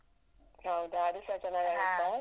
ಹೌದಾ ಅದು ಸ